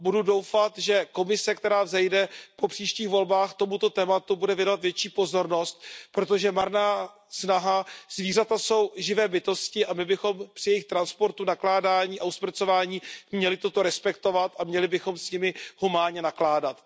Budu doufat, že Komise, která vzejde po příštích volbách, tomuto tématu bude věnovat větší pozornost, protože zvířata jsou živé bytosti a my bychom při jejich transportu, nakládání a usmrcování měli toto respektovat a měli bychom s nimi humánně nakládat.